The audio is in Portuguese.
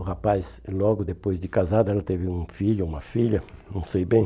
O rapaz, logo depois de casado, ela teve um filho ou uma filha, não sei bem.